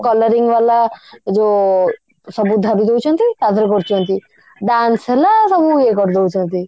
colouring ବାଲା ଯଉ ସବୁ ଧରିଦଉଛନ୍ତି colour କରୁଛନ୍ତି dance ହେଲା ସବୁ ଇଏ କରିଦଉଛନ୍ତି